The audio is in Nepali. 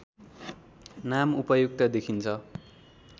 नाम उपयुक्त देखिन्छ